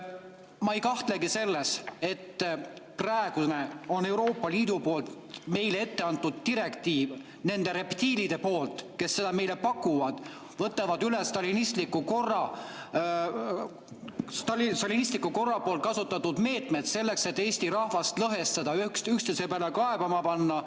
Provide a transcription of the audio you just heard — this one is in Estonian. Ma ei kahtlegi selles, et praeguse Euroopa Liidu poolt meile etteantud direktiivi nende reptiilide poolt, kes seda meile pakuvad ja võtavad üle stalinistliku korra kasutatud meetmed selleks, on Eesti rahvast lõhestada ja üksteise peale kaebama panna.